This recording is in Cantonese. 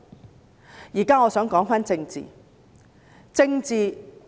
我現在想說回政治。